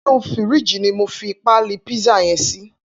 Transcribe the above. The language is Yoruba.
Inú fírìjí ni mó fi pàlí pizza yèn si